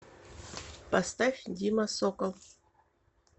поставь дима сокол